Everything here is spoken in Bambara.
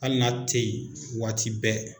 Hali n'a tɛ yen waati bɛɛ